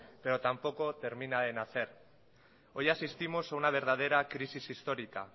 pero tampoco termina de nacer hoy asistimos a una verdadera crisis histórica